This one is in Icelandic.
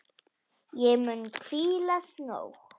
Ég mun hvílast nóg.